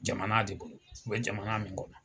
Jamana de bolo, u bɛ jamana min kɔnɔ.